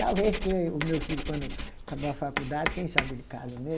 Talvez que o meu filho, quando acabar a faculdade, quem sabe ele casa, né?